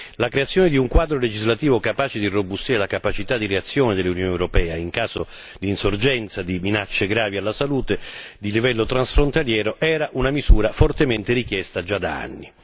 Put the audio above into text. La creazione di un quadro legislativo capace di irrobustire la capacità di reazione dell'Unione europea in caso di insorgenza di minacce gravi alla salute di livello transfrontaliero era una misura fortemente richiesta già da anni.